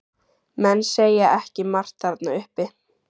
Menn segja ekki margt þarna uppi.